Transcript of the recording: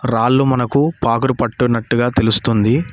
రాళ్లు మనకు పాకుడు పట్టునట్టుగా తెలుస్తుంది.